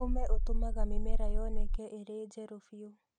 ũme ũtũmaga mĩmera yoneke irĩ njerũ biũ.